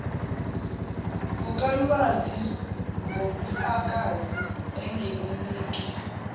kukalwazi ngobufakazi engininike